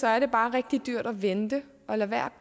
er det bare rigtig dyrt at vente og lade være